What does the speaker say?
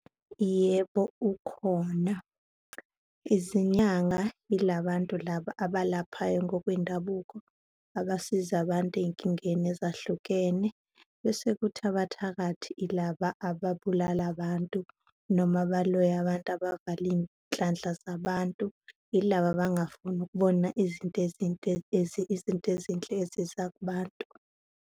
Yebo, ukhona. Izinyanga yilabantu laba abalaphayo ngokwendabuko, abasiza abantu ey'nkingeni ezahlukene bese kuthi abathakathi yilaba ababulala abantu, noma abaloya abantu, abavala iy'nhlanhla zabantu, yilaba abangafuni ukubona izinto izinto ezinhle eziza kubantu.